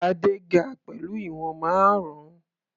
Adé ga pẹ̀lú ìwọ̀n márùn-ún.